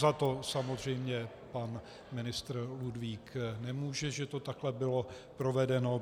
Za to samozřejmě pan ministr Ludvík nemůže, že to takhle bylo provedeno.